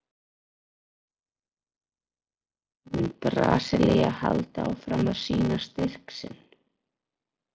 Mun Brasilía halda áfram að sýna styrk sinn?